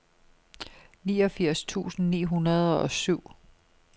niogfirs tusind ni hundrede og syv